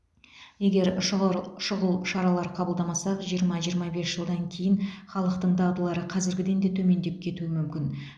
егер шұғыр шұғыл шаралар қабылдамасақ жиырма жиырма бес жылдан кейін халықтың дағдылары қазіргіден де төмендеп кетуі мүмкін